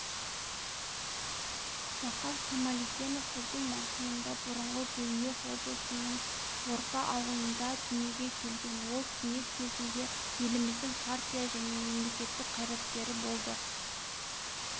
зақаш камалиденов жылдың маусымында бұрынғы гурьев облысының орпа ауылында дүниеге келген ол кеңес кезінде еліміздің партия және мемлекеттік қайраткері болды